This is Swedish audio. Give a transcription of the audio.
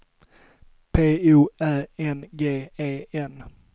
P O Ä N G E N